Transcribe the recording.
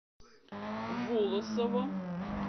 волосово